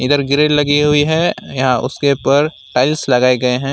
यह ग्रील लगी हुई है यहाँ उसके ऊपर टाइल्स लगाए गए हैं।